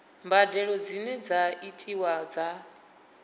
mbadelo dzine dza itiwa dza